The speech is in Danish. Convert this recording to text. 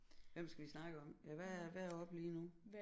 Hvem skal vi snakke om ja hvad er hvad er oppe lige nu